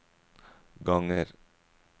ganger